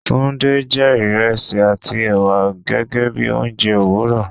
Tunde jẹ́ ìrẹsì àti ẹ̀wà gẹ́gẹ́ bí oúnjẹ òwúrò